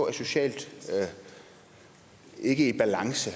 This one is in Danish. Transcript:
er socialt i balance